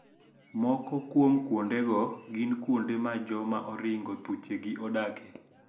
Moko kuom kuondego gin kuonde ma joma oringo thuchegi odake